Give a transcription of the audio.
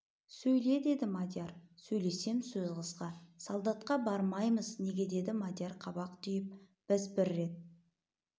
сөйле деді мадияр сөйлесем сөз қысқа салдатқа бармаймыз неге деді мадияр қабақ түйіп біз бір рет